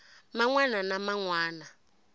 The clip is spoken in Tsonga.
man wana na man wana